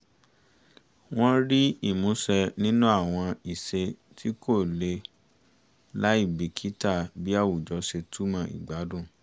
wọ́n rí ìmúṣẹ nínú àwọn ìṣe tí kò lè láì bìkítà bí àwùjọ ṣe túmọ̀ ìgbàdun